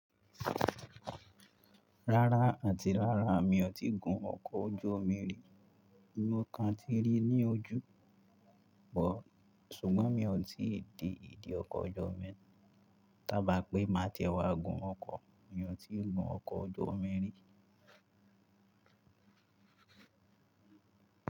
Rárá àti rárá mi ò tíi gun ọkọ̀ ojú omi rí, mi ò kan tíi rí i ní ojú but ṣùgbọ́n mi ò tíì de ìdí ọkọ̀ ojú omi, tábàá pé máa ti wa gun ọkọ̀ mi ò tií gun ọkọ̀ ojú omi rí.